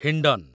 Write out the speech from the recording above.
Hindon